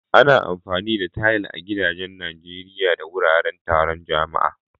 Ana amfani da tayal a gidajen Najeriya da wuraren taron jama'a.